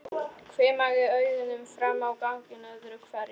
Hvimaði augunum fram á ganginn öðru hverju.